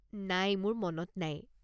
নাই মোৰ মনত নাই।